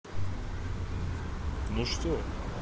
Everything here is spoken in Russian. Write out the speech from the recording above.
ну что